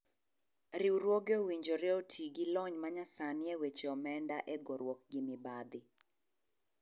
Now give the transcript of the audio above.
Riwruoge owinjore oti gi lony manyasanii e weche omenda e goruok gi mibadhi.